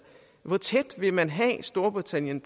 hvor tæt på vil man have storbritannien